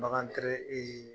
Bagan